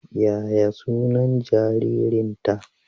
Yaya sunan jaririnta?